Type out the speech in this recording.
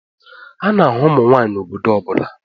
A na-ahụ ụmụ nwanyị n'obodo ọ bụla